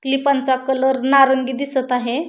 क्लिपांचा colour नारंगी दिसत आहे.